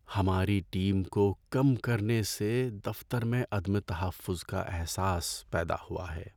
ہماری ٹیم کو کم کرنے سے دفتر میں عدم تحفظ کا احساس پیدا ہوا ہے۔